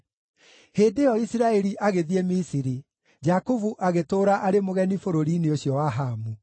Hĩndĩ ĩyo Isiraeli agĩthiĩ Misiri; Jakubu agĩtũũra arĩ mũgeni bũrũri-inĩ ũcio wa Hamu.